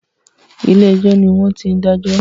Ilé ẹjọ́ ni wọ́n ti ń dájọ́